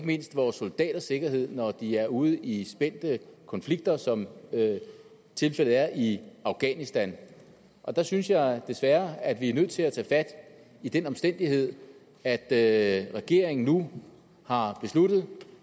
mindst vores soldaters sikkerhed når de er ude i spændte konflikter som tilfældet er i afghanistan og der synes jeg desværre at vi er nødt til at tage fat i den omstændighed at at regeringen nu har besluttet